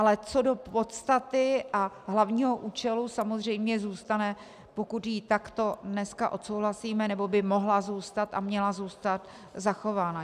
Ale co do podstaty a hlavního účelu samozřejmě zůstane, pokud ji takto dneska odsouhlasíme, nebo by mohla zůstat a měla zůstat zachována.